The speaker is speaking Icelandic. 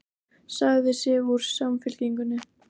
Sagði sig úr Samfylkingunni